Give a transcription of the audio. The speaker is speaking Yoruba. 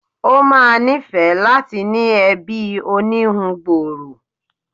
Ó ma níìfẹ́ láti ní ẹbí oníhun gbòòrò